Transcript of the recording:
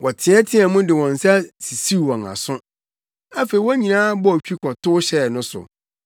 Wɔteɛteɛɛ mu de wɔn nsa sisiw wɔn aso. Afei wɔn nyinaa bɔɔ twi kɔtow hyɛɛ no so,